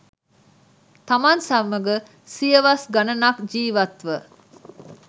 තමන් සමඟ සියවස් ගණනක් ජීවත් ව